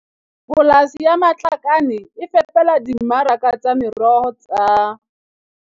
Polasi ya Matlakane e fepela dimmaraka tsa meroho tsa